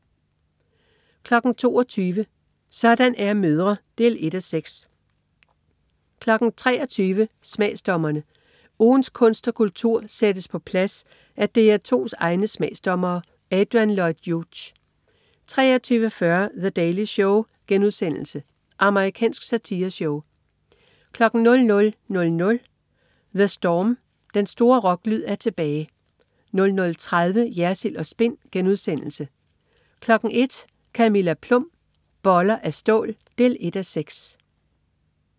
22.00 Sådan er mødre. 1:6 23.00 Smagsdommerne. Ugens kunst og kultur sættes på plads af DR2's egne smagsdommere. Adrian Lloyd Hughes 23.40 The Daily Show.* Amerikansk satireshow 00.00 The Storm. Den store rocklyd er tilbage 00.30 Jersild & Spin* 01.00 Camilla Plum. Boller af stål 1:6